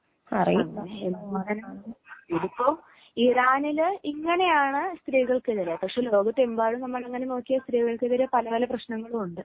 ഇതിപ്പോ ഇങ്ങിനെയാണ് ഇറാനിൽ ഇങ്ങനെയാണ് സ്ത്രീകൾക്കെതിരെ പക്ഷെ ലോകത്തെമ്പാടും നോക്കിയാൽ സ്ത്രീകൾക്കെതിരെ